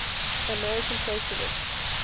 american socialists